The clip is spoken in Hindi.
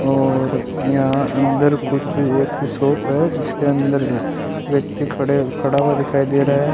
और यहां अंदर कुछ एक शॉप है जिसके अंदर व्यक्ति खड़े खड़ा हुआ दिखाई दे रहा है।